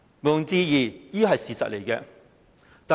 毋庸置疑，這是事實。